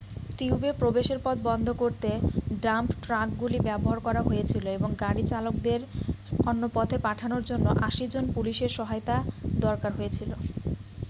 টিউবে প্রবেশের পথ বন্ধ করতে ডাম্প ট্রাকগুলি ব্যবহার করা হয়েছিল এবং গাড়ি চালকদের অন্য পথে পাঠানোর জন্য 80 জন পুলিশের সহায়তা দরকার হয়েছিল